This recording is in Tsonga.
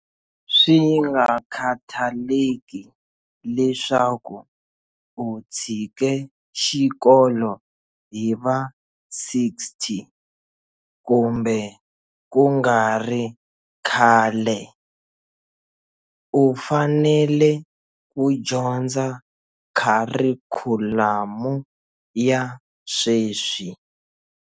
Swingakhathaleki leswaku u tshike xikolo hi va 60 kumbe kungari khale, u fanele ku dyondza kharikhulamu ya sweswi.